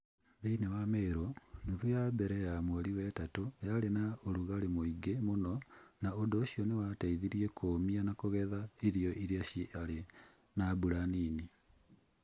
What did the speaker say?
Thĩinĩ wa Meru, nuthu ya mbere ya mweri wetatũ yarĩ na ũrugarĩ mũingĩ mũno na ũndũ ũcio nĩ wateithirie kũũmia na kũgetha irio iria ciarĩ na mbura nini.